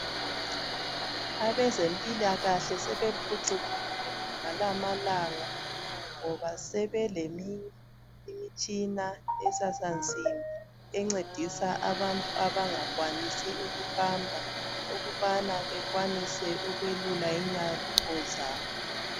Abezempilakahle sebephucukuli ngalamalanga, ngoba sebelemitshina esansimbiencedisa abantu abangakwanisi ukuhamba ukubana belule inyawo zabo.